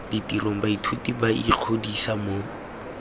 ditirong baithuti ba ikgodisa mo